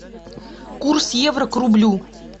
курс евро к рублю